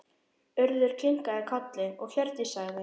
Urður kinkaði kolli og Hjördís sagði